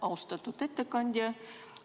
Austatud ettekandja!